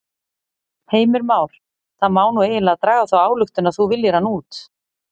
Heimir Már: Það má nú eiginlega draga þá ályktun að þú viljir hana út?